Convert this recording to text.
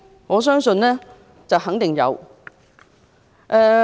我相信肯定有。